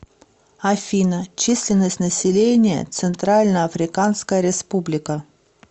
афина численность населения центральноафриканская республика